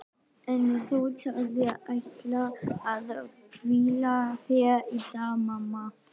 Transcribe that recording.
En þú sagðist ætla að hvíla þig í dag mamma.